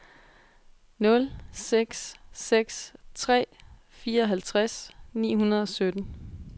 nul seks seks tre fireoghalvtreds ni hundrede og sytten